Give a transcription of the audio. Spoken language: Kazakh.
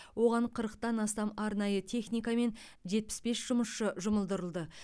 оған қырықтан астам арнайы техника мен жетпіс бес жұмысшы жұмылдырылды